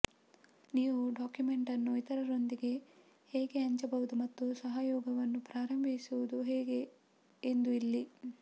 ನೀವು ಡಾಕ್ಯುಮೆಂಟ್ ಅನ್ನು ಇತರರೊಂದಿಗೆ ಹೇಗೆ ಹಂಚಬಹುದು ಮತ್ತು ಸಹಯೋಗವನ್ನು ಪ್ರಾರಂಭಿಸುವುದು ಹೇಗೆ ಎಂದು ಇಲ್ಲಿ